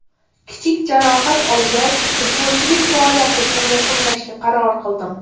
Kichik jarohat olgach, futbolchilik faoliyatimni yakunlashga qaror qildim.